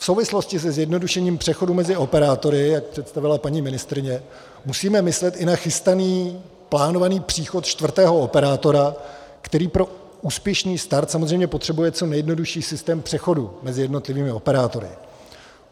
V souvislosti se zjednodušením přechodu mezi operátory, jak představila paní ministryně, musíme myslet i na chystaný plánovaný příchod čtvrtého operátora, který pro úspěšný start samozřejmě potřebuje co nejjednodušší systém přechodu mezi jednotlivými operátory.